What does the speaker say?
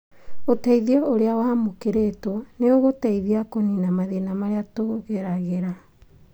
ũteithio ũrĩa wamũkĩrĩtwo nĩũgũteithia kũnina mathina marĩa tũgeragĩra